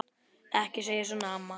Ekki segja svona, mamma.